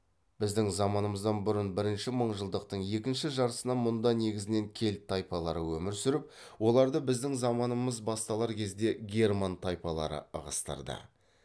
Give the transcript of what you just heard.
біздің заманымыздан бұрын бірінші мыңжылдықтың екінші жартысынан мұнда негізінен кельт тайпалары өмір сүріп оларды біздің заманымыз басталар кезде герман тайпалары ығыстырды